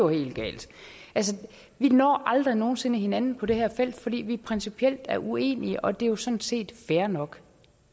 helt galt vi når aldrig nogen sinde hinanden på det her felt fordi vi principielt er uenige og det er jo sådan set fair nok